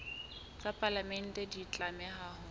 tsa palamente di tlameha ho